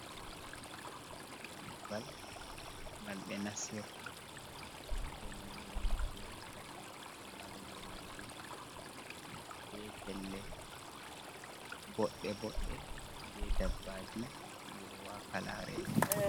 Dammugal ngal ɓe nasirta pellel wancugo laarugo ladde bee pelle boɗɗe boɗɗe. Bee dabbaji ɗi woowaaka laareego.